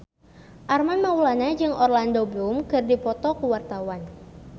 Armand Maulana jeung Orlando Bloom keur dipoto ku wartawan